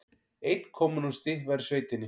Einn kommúnisti var í sveitinni.